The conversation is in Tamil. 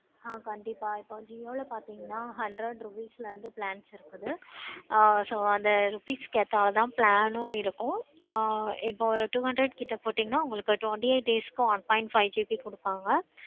ஆஹ் கண்டிப்பா இப்ப jio ல பார்த்தீங்கன்னா hundred rupees ல இருந்து plans இருக்குது. ஆஹ் so அந்த rupees க்கு ஏத்தாப்புல தான் plan உம் இருக்குது. ஆஹ் இப்போ ஒரு two hundred கிட்ட போட்டிங்கனா உங்களுக்கு twenty eight days க்கு one point five GB கொடுப்பாங்க